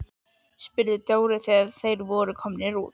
spurði Dóri þegar þeir voru komnir út.